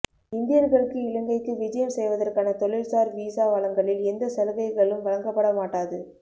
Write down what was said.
இந்தியர்களுக்கு இலங்கைக்கு விஜயம் செய்வதற்கான தொழிற்சார் வீசா வழங்கலில் எந்த சலுகைகளும் வழங்கப்பட மாட்டாது